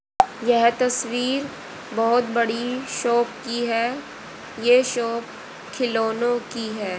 यह तस्वीर बहोत बड़ी शॉप की हैं ये शॉप खिलौनों की है।